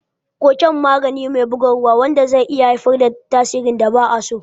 Koken magani me bugarwa wanda zai iya haifar da tasirin da ba a so.